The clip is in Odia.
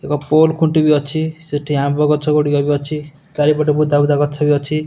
ଏକ ପୋଲ ଖୁଣ୍ଟି ବି ଅଛି ସେଠି ଆମ୍ବ ଗଛ ଗୁଡ଼ିକ ବି ଅଛି ଚାରିପଟେ ବୁଦା ବୁଦା ଗଛ ଭି ଅଛି।